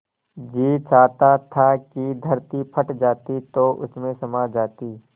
जी चाहता था कि धरती फट जाती तो उसमें समा जाती